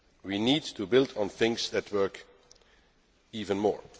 do so. We need to build on things that work even